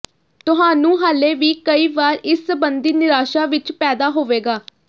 ਤੁਹਾਨੂੰ ਹਾਲੇ ਵੀ ਕਈ ਵਾਰ ਇਸ ਸਬੰਧੀ ਨਿਰਾਸ਼ਾ ਵਿਚ ਪੈਦਾ ਹੋਵੇਗਾ